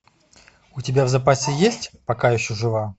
у тебя в запасе есть пока еще жива